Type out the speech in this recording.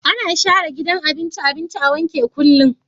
Ana share gidan abinci abinci a wanke kullum